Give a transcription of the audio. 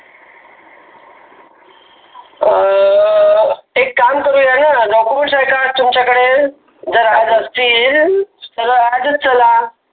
अं अह एक काम करूया ना document आहेत का तुमच्याकडे जर राहत असतील तर आजच चला.